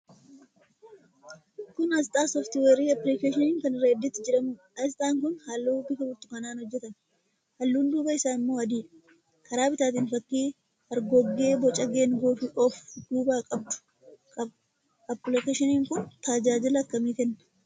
Kun aasxaa sooft-weerii appilikeeshinii kan 'reddit' jedhamuudha. Aasxaan kun halluu bifa burtukaanaan hojjetame. Halluun duubaa isaa immoo adiidha. Karaa bitaatiin fakkii hargoggee, boca geengoo of duubaa qabdu qaba. Appilikeeshiniin kun tajaajila akkamii kenna?